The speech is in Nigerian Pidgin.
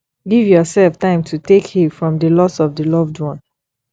give yourself time to take heal from di loss of di loved one